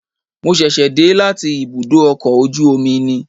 Mo ṣẹ̀ṣẹ̀ dé láti ibùdó ọkọ̀ ojú omi ni